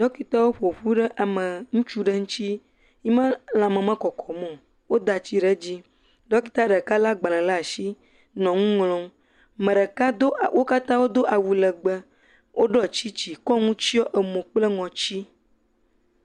Dɔkitawo ƒoƒu ɖe ame ŋutsu ɖe ŋuti, yime lãme mekɔkɔm o. Dɔkita lé agbalẽ ɖe asi le nu ŋlɔm. Ame ɖeke do wo katã do awu legbe, woɖɔ tsiŋtsi wokɔ nu tsiɔ emo kple ŋɔti.